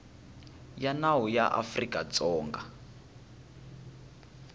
ya nawu ya afrika dzonga